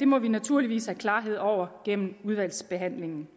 det må vi naturligvis have klarhed over gennem udvalgsbehandlingen